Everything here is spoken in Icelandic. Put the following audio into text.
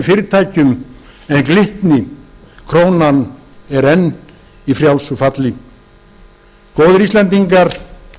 fyrirtækjum en glitni krónan er enn í frjálsu falli góðir íslendingar